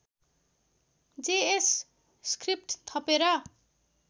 JS script थपेर